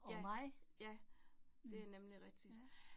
Ja, ja, det nemlig rigtigt